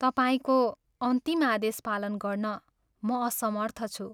तपाईंको अन्तिम आदेश पालन गर्न म असमर्थ छु।